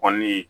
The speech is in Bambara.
Kɔni